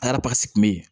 A kɛra kun be ye